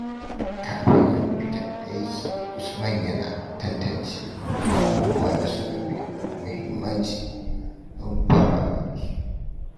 Kafin ya fita aiki, Usman yana tantance abubuwan da suka fi muhimmanci don farawa da su.